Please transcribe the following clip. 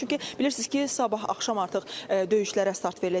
Çünki bilirsiz ki, sabah axşam artıq döyüşlərə start veriləcək.